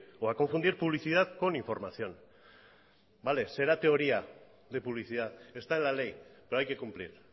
o a confundir publicidad con información vale será teoría de publicidad está en la ley pero hay que cumplir